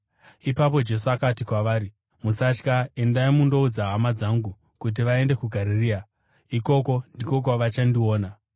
Ipapo Jesu akati kwavari, “Musatya. Endai mundoudza hama dzangu kuti vaende kuGarirea; ikoko ndiko kwavachanondiona.”